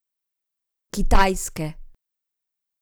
Kitajske!